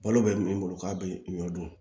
Balo bɛ min bolo k'a bɛ ɲɔ dun